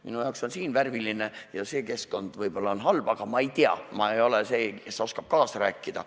Minu arvates on siin värviline ja see keskkond võib-olla on halb, aga ma ei tea, ma ei ole see, kes oskab kaasa rääkida.